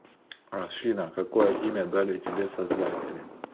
афина какое имя дали тебе создатели